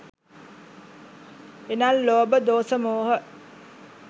එනම් ලෝභ, දෝස, මෝහ